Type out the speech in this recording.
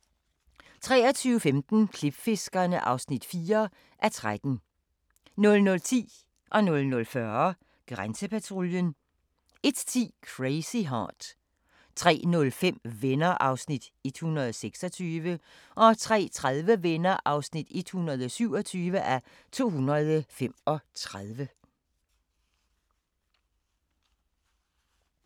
23:15: Klipfiskerne (4:13) 00:10: Grænsepatruljen 00:40: Grænsepatruljen 01:10: Crazy Heart 03:05: Venner (126:235) 03:30: Venner (127:235)